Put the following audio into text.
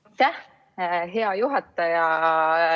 Aitäh, hea juhataja!